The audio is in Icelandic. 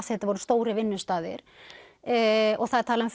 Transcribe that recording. þetta voru stórir vinnustaðir og það er talað um